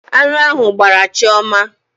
Aṅụ ahụ gbraa Chioma.